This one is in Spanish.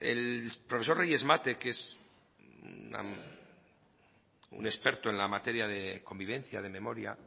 el profesor reyes mate que es un experto en la materia de convivencia de memoria